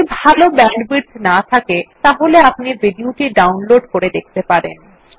যদি ভাল ব্যান্ডউইডথ না থাকে তাহলে আপনি ভিডিও টি ডাউনলোড করে দেখতে পারেন